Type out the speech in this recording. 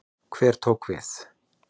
Hver tók við?